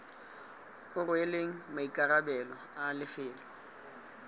o rweleng maikarabelo a lefelo